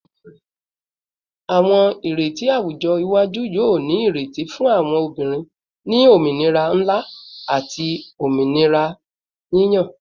Awọn ireti awujọ iwaju yoo ni ireti fun awọn obinrin ni ominira nla ati ominira yiyan